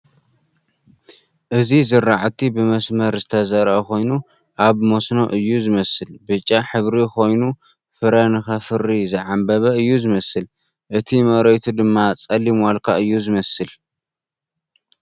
እዚ ዝራዕቲ ብመስመር ዝተዘርኣ ኾይኑ ናይ መስኖ እዩ ዝመስል ብጫ ሕብሪ ኾይኑ ፍረ ንኽፈሪ ዝዓምበበ እዩ ዝመስል ፡እቲ መሬቱ ድማ ፀሊም ዋልካ እዩ ዝመስል ።